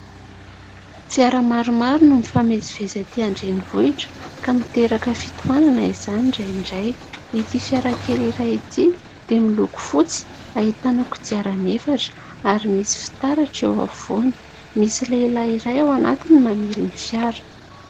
Fira maromaro no mifamezivezy aty andrenivohitra ka miteraka fitohanana izany indraindray, ity fiara kely iray ity dia miloko fotsy, ahitana kodiarany efatra ary misy fitaratra eo afovoany, misy lehilahy iray ao anatiny mamily ny fiara.